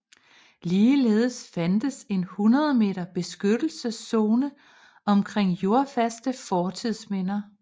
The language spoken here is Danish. Ligeledes fandtes en 100 m beskyttelseszone omkring jordfaste fortidsminder